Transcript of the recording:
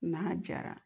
N'a jara